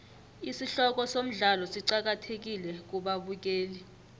isihloko somdlalo siqakathekile kubabukeli